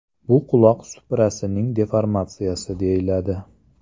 Bu quloq suprasining deformatsiyasi deyiladi.